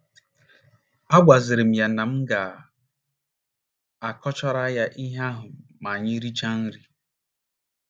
Agwaziri m ya na m ga - akọchara ya ihe ahụ ma anyị richaa nri.